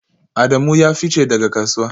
Adamu ya fice daga kasuwa